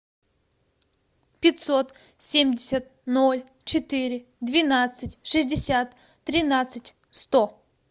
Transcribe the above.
пятьсот семьдесят ноль четыре двенадцать шестьдесят тринадцать сто